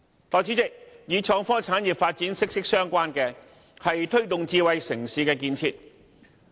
代理主席，與創科產業發展息息相關的，是推動智慧城市的建設。